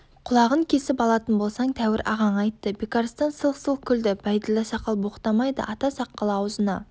құлағын кесіп алатын болсаң тәуір ағаң айтты бекарыстан сылқ-сылқ күлді бәйділда сақал боқтамайды ата сақалы аузына